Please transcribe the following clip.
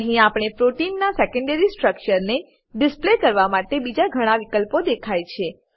અહી આપણે પ્રોટીનના સેકેન્ડરી સ્ટ્રક્ચરને ડિસ્પ્લે કરવા માટે બીજા ઘણા વિકલ્પો દેખાય છે